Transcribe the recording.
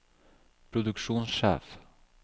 produksjonssjef